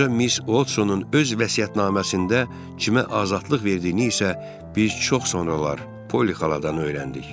Qoca Miss Oldsonun öz vəsiyyətnaməsində Cimə azadlıq verdiyini isə biz çox sonralar Poli xaladan öyrəndik.